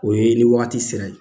O ye nin ni wagati sera ye